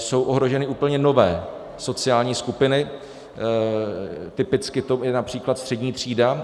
Jsou ohroženy úplně nové sociální skupiny, typicky to je například střední třída.